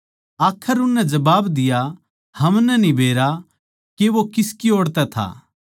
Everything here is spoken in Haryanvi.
आखर उननै जबाब दिया हमनै न्ही बेरा के वो किस ओड़ तै था